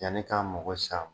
Yani k'a mago sa